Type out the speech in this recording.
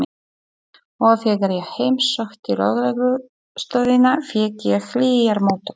Og þegar ég heimsótti lögreglustöðina fékk ég hlýjar móttökur.